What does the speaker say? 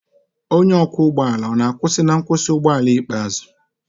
onye ọkwọ ụgbọ ala ọ na-akwụsị na nkwụsị ụgbọ ala ikpeazụ?